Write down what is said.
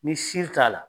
Ni si t'a la